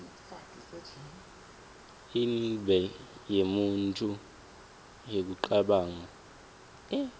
inble yemuntju yekucabanga